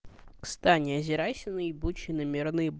стань озирайся на ебучей нами